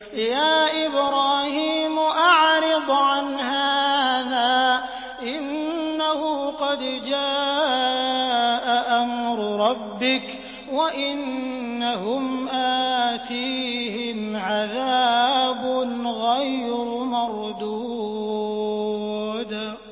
يَا إِبْرَاهِيمُ أَعْرِضْ عَنْ هَٰذَا ۖ إِنَّهُ قَدْ جَاءَ أَمْرُ رَبِّكَ ۖ وَإِنَّهُمْ آتِيهِمْ عَذَابٌ غَيْرُ مَرْدُودٍ